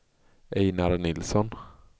Einar Nilsson